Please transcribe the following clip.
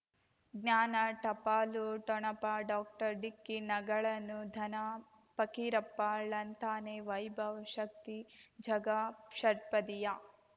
ಜ್ಞಾನ ಟಪಾಲು ಠೊಣಪ ಡಾಕ್ಟರ್ ಢಿಕ್ಕಿ ಣಗಳನು ಧನ ಫಕೀರಪ್ಪ ಳಂತಾನೆ ವೈಭವ್ ಶಕ್ತಿ ಝಗಾ ಷಟ್ಪದಿಯ